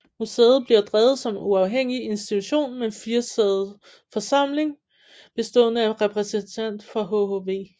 Museet bliver drevet som en uafhængig institution med en firesidet forsamling bestående af en repræsentant fra hhv